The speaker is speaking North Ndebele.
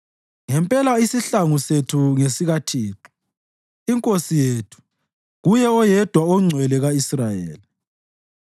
Ngempela isihlangu sethu ngesikaThixo, iNkosi yethu Kuye oYedwa oNgcwele ka-Israyeli.